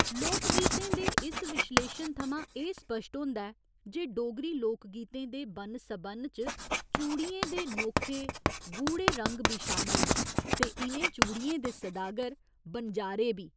लोकगीतें दे इस विश्लेशन थमां एह् स्पश्ट होंदा ऐ जे डोगरी लोकगीतें दे बन्न सबन्न च चूड़ियें दे नोखे, गूढ़े रंग बी शामल न ते इ'नें चूड़ियें दे सदागर बनजारे बी।